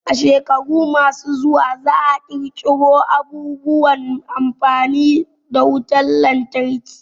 A shekaru ma su zuwa za a ƙara ƙirƙiro abubuwan amfani na wutan lantarki